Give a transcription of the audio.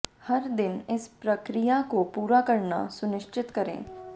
हर दिन इस प्रक्रिया को पूरा करना सुनिश्चित करें